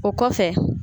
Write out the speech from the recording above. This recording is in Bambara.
O kɔfɛ